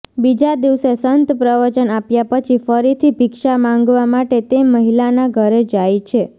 બીજા દિવસે સંત પ્રવચન આપ્યા પછી ફરીથી ભિક્ષા માંગવા માટે તે મહિલાના ઘરે જાય છે